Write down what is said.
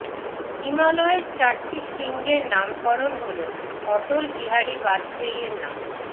হিমালয়ের চারটি শৃঙ্গের নামকরণ হল অটল বিহারী বাজপেয়ীর নামে